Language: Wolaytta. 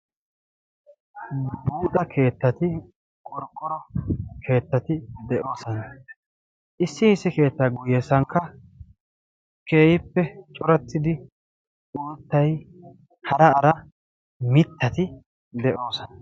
Buuxa keettati, qorqqoro keettatti de'oososna, issi issi keettaa guyessankka keehippe corattidi uuttay hara hara mitatti de'ososna.